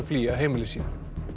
flýja heimili sín